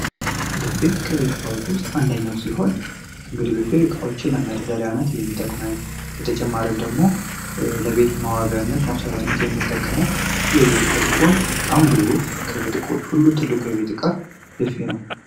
ቡፌ ከቤት ውስጥ እቃዎች መካከል አንደኛው ሲሆን ቡፌ እንግዲህ እቃዎችን ለመደርደር የሚጠቅመን በተጨማሪም ደግሞ ለቤት ማስዋቢያነት የምንጠቀምበት የቤት እቃ ሲሆን በጣም ግዙፍ ከቤት እቃዎች ሁሉ ትልቁ የቤት እቃ ቡፌ ነው።